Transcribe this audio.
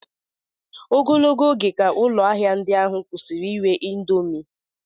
Ogologo oge ka ụlọ ahịa ndị ahụ kwụsịrị ire indomi